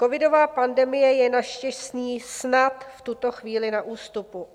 Covidová pandemie je naštěstí snad v tuto chvíli na ústupu.